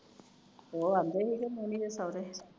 ਉਹ ਆਉਂਦੇ ਸੀ ਮੋਨੀ ਦੇ ਸੁਹਰੇ